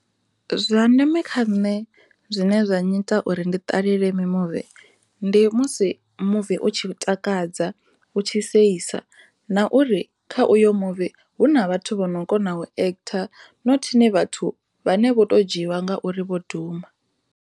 Zwa ndeme kha nṋe zwine zwa nnyita uri ndi ṱalele mimuvi ndi musi muvi u tshi takadza u tshi seisa na uri kha uyo muvi hu na vhathu vha no kona u actor nothini vhathu vhane vho to dzhiiwa ngauri vho duma.